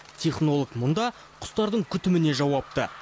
технолог мұнда құстардың күтіміне жауапты